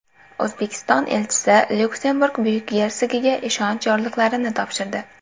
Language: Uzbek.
O‘zbekiston elchisi Lyuksemburg Buyuk gersogiga ishonch yorliqlarini topshirdi.